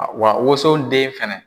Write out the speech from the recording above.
Wa woson den fɛnɛ.